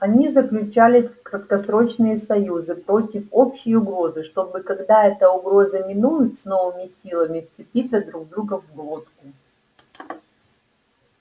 они заключали краткосрочные союзы против общей угрозы чтобы когда эта угроза минует с новыми силами вцепиться друг другу в глотку